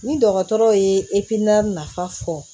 Ni dɔgɔtɔrɔw ye nafa fɔ